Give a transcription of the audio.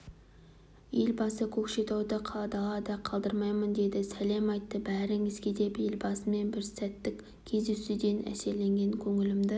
елбасы көкшетауды далада қалдырмаймын деді сәлем айтты бәріңізге деп елбасымен бір сәттік кездесуден әсерленген көңілімді